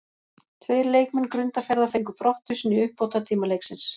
Tveir leikmenn Grundarfjarðar fengu brottvísun í uppbótartíma leiksins.